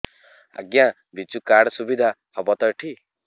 ଆଜ୍ଞା ବିଜୁ କାର୍ଡ ସୁବିଧା ହବ ତ ଏଠି